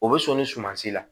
O bɛ sɔn ni suman si la